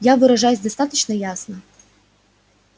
я выражаюсь достаточно ясно